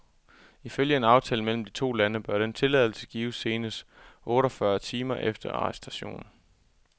Ifølge en aftale mellem de to lande bør denne tilladelse gives senest otteogfyrre timer efter arrestationen.